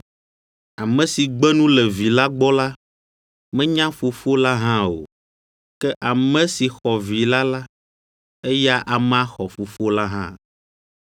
Ame si gbe nu le Vi la gbɔ la, menya Fofo la hã o; ke ame si xɔ Vi la la, eya amea xɔ Fofo la hã.